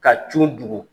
Ka cun dugu